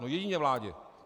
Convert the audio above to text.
No jedině vládě.